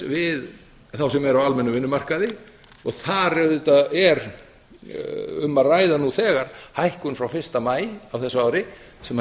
við þá sem eru á almennum vinnumarkaði þar er nú þegar um að ræða hækkun frá fyrsta maí á þessu ári sem